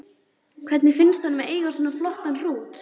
Hvernig finnst honum að eiga svona flottan hrút?